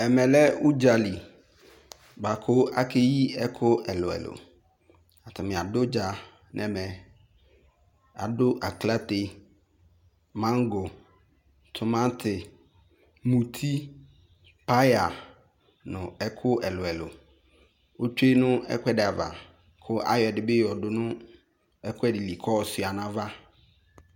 Ɛme lɛ udzali boako akeyi ɛku ɛluɛlu, Atame ado udza no ɛmɛ Ado aklate, mango, tomante, muti, paya no ɛku ɛluɛlu Otsue no ekuɛde ava ko ayɔ ɛde be yɔ do no ekuɛde li ko ayɔ sua no ava